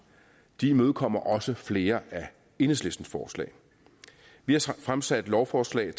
de imødekommer også flere af enhedslistens forslag vi har fremsat lovforslag